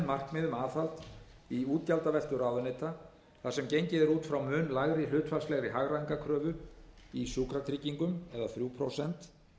markmið um aðhald í útgjaldaveltu ráðuneyta þar sem gengið er út frá mun lægri hlutfallslegri hagræðingarkröfu í sjúkratryggingum þrjú prósent